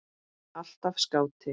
Alltaf skáti.